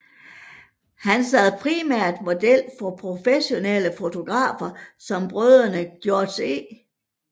Han sad primært model for professionelle fotografer som brødrene Georg E